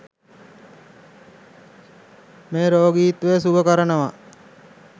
මේ රෝගීන්ව සුව කරනවා.